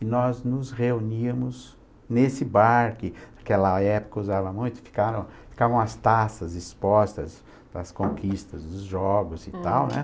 E nós nos reuníamos nesse bar, que naquela época usava muito, ficavam ficavam as taças expostas para as conquistas dos jogos e tal, né?